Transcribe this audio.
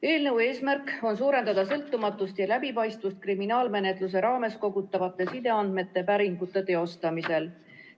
Eelnõu eesmärk on suurendada sõltumatust ja läbipaistvust kriminaalmenetluse raames kogutavate sideandmete päringute teostamisel.